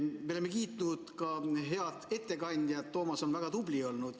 Me oleme kiitnud ka head ettekandjat, Toomas on väga tubli olnud.